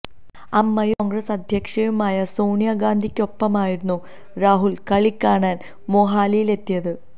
അമ്മയും കോണ്ഗ്രസ് അധ്യക്ഷയുമായ സോണിയ ഗാന്ധിയ്ക്കൊപ്പമായിരുന്നു രാഹുല് കളികാണാന് മൊഹാലിയില് എത്തിയത്